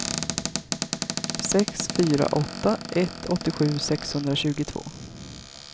sex fyra åtta ett åttiosju sexhundratjugotvå